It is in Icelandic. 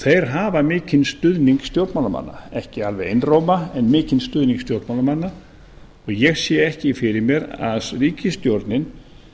þeir hafa mikinn stuðning stjórnmálamanna ekki alveg einróma en mikinn stuðning stjórnmálamanna og ég sé ekki fyrir mér að ríkisstjórnin